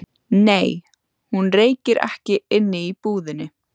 Nei, hún reykir ekki inni í búðinni.